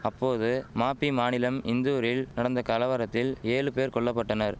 அப்போது மபி மாநிலம் இந்தூரில் நடந்த கலவரத்தில் ஏழு பேர் கொல்லபட்டனர்